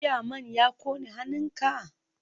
Jiya man ya kone hannunka?